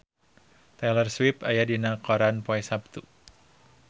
Taylor Swift aya dina koran poe Saptu